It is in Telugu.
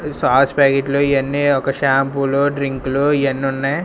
సాస్ ప్యాకెట్ లు ఇవి అన్ని ఒక షాంపూ లు డ్రింకు లు ఇవి అన్ని ఉన్నాయ్.